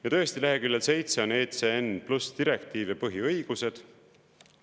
Ja tõesti leheküljel 7 on "ECN+ direktiiv ja põhiõigused".